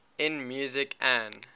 in music an